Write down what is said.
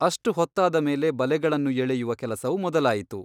ಅಷ್ಟು ಹೊತ್ತಾದ ಮೇಲೆ ಬಲೆಗಳನ್ನು ಎಳೆಯುವ ಕೆಲಸವು ಮೊದಲಾಯಿತು.